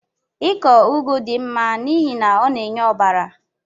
Ịkọ ugu dị mma n'ihi na ọ na-enye ọbara